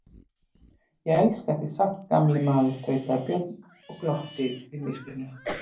Ég elska þig samt gamli maður, tautaði Björn og glotti við myrkrinu.